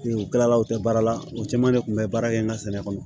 U kɛlaw tɛ baara la o caman de tun bɛ baara kɛ n ka sɛnɛ kɔnɔ